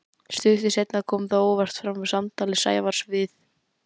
Stuttu seinna kom það óvart fram í samtali Sævars við